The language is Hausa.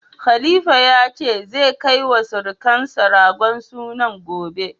Khalifa ya ce, zai kai wa sirukansa ragon sunan gobe.